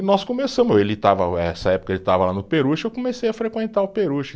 E nós começamos, ele estava, eh essa época ele estava lá no Peruche, eu comecei a frequentar o Peruche.